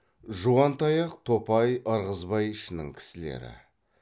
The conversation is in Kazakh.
жуантаяқ топай ырғызбай ішінің кісілері